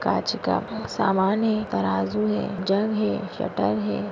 कांच का समान है तराजू है जग है शटर है।